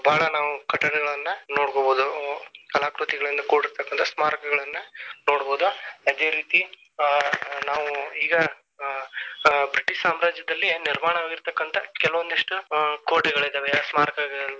ಹ ಬಾಳ ನಾವು ಕಟ್ಟಡಗಳನ್ನ ನೋಡಬಹುದು ಕಲಾಕೃತಿಗಳಿಂದ ಕೂಡಿರತಕ್ಕಂತ ಸ್ಮಾರಕಗಳನ್ನ ನೋಡಬಹುದು. ಅದೇ ರೀತಿ ಆ ನಾವು ಈಗ ಆ ಆ ಬ್ರಿಟಿಷ್ ಸಾಮ್ರಾಜ್ಯದಲ್ಲಿ ನಿರ್ಮಾಣ ಆಗಿರತಕ್ಕಂತ ಕೆಲವೊಂದಿಷ್ಟ ಆ ಕೋಟೆಗಳಿದವೇ ಸ್ಮಾರಕಗಳಿದವೇ.